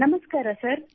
ನಮಸ್ಕಾರ ಸರ್